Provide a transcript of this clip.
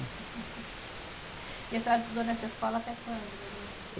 E a senhora estudou nessa escola até quando, mais ou menos?